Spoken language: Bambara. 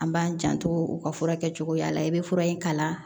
An b'an janto u ka fura kɛcogoya la i bɛ fura in kalan